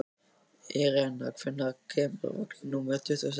Irena, hvenær kemur vagn númer tuttugu og sex?